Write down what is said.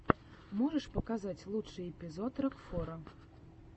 можешь показать лучший эпизод рокфора